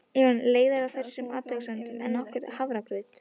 Ég var orðin leiðari á þessum athugasemdum en nokkrum hafragraut.